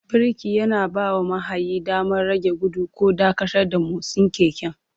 Birki yana bawa mahayi damar rage gudu ko dakatar da motsin keken.